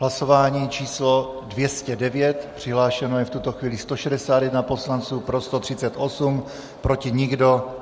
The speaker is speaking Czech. Hlasování číslo 209, přihlášeno je v tuto chvíli 161 poslanců, pro 138, proti nikdo.